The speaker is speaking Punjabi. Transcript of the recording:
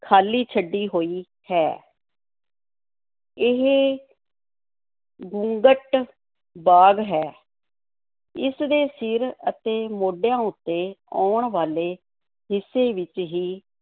ਖ਼ਾਲੀ ਛੱਡੀ ਹੋਈ ਹੈ ਇਹ ਘੁੰਗਟ-ਬਾਗ਼ ਹੈ ਇਸ ਦੇ ਸਿਰ ਅਤੇ ਮੋਢਿਆਂ ਉੱਤੇ ਆਉਣ ਵਾਲੇ ਹਿੱਸੇ ਵਿੱਚ ਹੀ